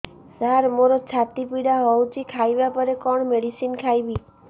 ସାର ମୋର ଛାତି ପୀଡା ହଉଚି ଖାଇବା ପରେ କଣ ମେଡିସିନ ଖାଇବି